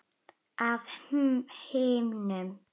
Af himnum?